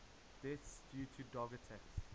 deaths due to dog attacks